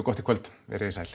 gott í kvöld veriði sæl